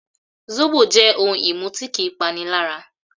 Zóbò jẹ́ ohun-ìmu tí kì í panilára